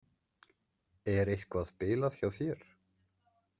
Er eitthvað bilað hjá þér?